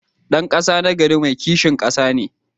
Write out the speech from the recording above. Dan kasa nagari mai kishin kasa ne.